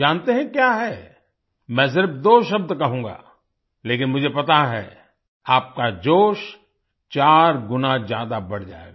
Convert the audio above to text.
जानते हैं क्या है मैं सिर्फ दो शब्द कहूँगा लेकिन मुझे पता है आपका जोश चार गुना ज्यादा बढ़ जाएगा